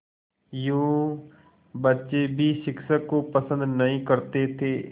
यूँ बच्चे भी शिक्षक को पसंद नहीं करते थे